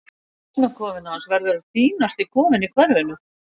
Dúfnakofinn hans verður fínasti kofinn í hverfinu.